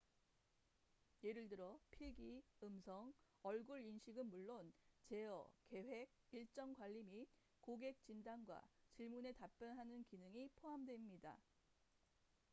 예를 들어 필기 음성 얼굴 인식은 물론 제어 계획 일정 관리 및 고객 진단과 질문에 답변하는 기능이 포함됩니다